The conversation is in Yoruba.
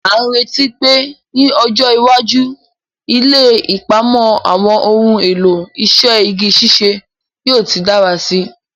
A n retí pe ni ọjọ́ iwájú, ilé ìpamọ́ àwọn ohun èlò iṣẹ́ igi ṣíṣe yóò ti dára síi.